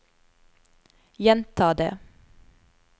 gjenta det